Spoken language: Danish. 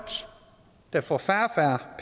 der får færre